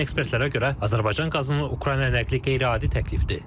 Lakin ekspertlərə görə Azərbaycan qazının Ukraynaya nəqli qeyri-adi təklifdir.